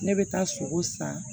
Ne bɛ taa sogo san